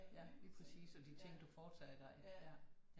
Ja lige præcis og de ting du foretager dig ja